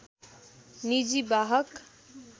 निजि वाहक